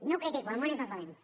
no ho critico el món és dels valents